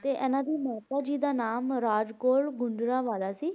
ਤੇ ਇਹਨਾਂ ਦੀ ਮਾਤਾ ਜੀ ਦਾ ਨਾਮ ਰਾਜ ਕੌਰ ਗੁਜਰਾਂਵਾਲਾ ਸੀ।